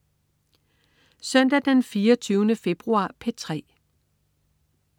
Søndag den 24. februar - P3: